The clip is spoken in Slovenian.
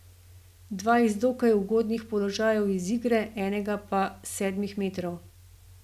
Dva iz dokaj ugodnih položajev iz igre, enega pa s sedmih metrov.